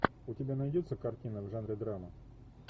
у тебя найдется картина в жанре драма